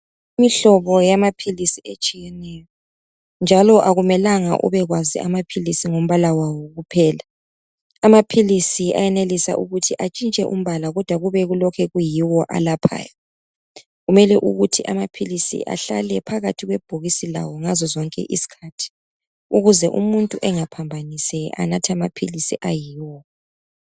Imihlobo yamaphilisi etshiyeneyo, njalo akumelanga ubekwazi amaphilisi ngombala wawo kuphela, amaphilisi ayenelisa ukuthi atshintshe umbala kodwa kube kulokhe kuyiwo alaphayo. Kumele ukuthi amaphilisi ahlale phakathi kwebhokisi lawo ngazo zonke izikhathi, ukuze umuntu engaphambanisi, anathe amaphilisi ayiwo.